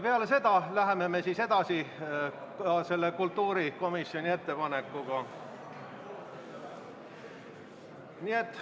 Peale seda läheme edasi selle kultuurikomisjoni ettepaneku juurde.